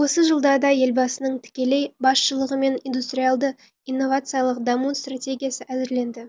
осы жылдарда елбасының тікелей басшылығымен индустриалды инновациялық даму стратегиясы әзірленді